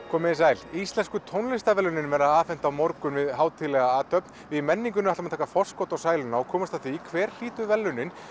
komið þið sæl íslensku tónlistarverðlaunin verða afhent á morgun við hátíðlega athöfn við í menningunni ætlum að taka forskot á sæluna og komast að því hver hlýtur verðlaunin